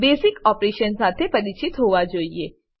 basic operation શાથે પરિચિત હોવા જોઈએ